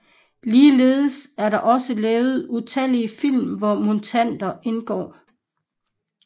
Ligeledes er der også lavet utallige film hvor mutanter indgår